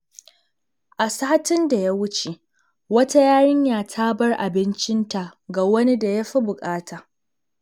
A satin da ya wuce, wata yarinya ta bar abincinta ga wani da ya fi bukata.